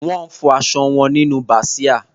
Wọ́n fọ aṣọ wọn nínú bàsíà.